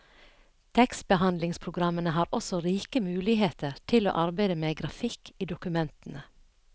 Tekstbehandlingspogrammene har også rike muligheter til å arbeide med grafikk i dokumentene.